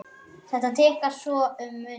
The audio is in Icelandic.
Þetta tikkar svo um munar!